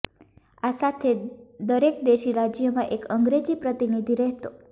આ સાથે દરેક દેશી રાજ્યમાં એક અંગ્રેજી પ્રતિનિધિ રહેતો